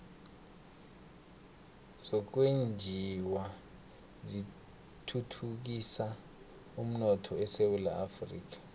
zokwenjiwa zithuthukisa umnotho esewula afrika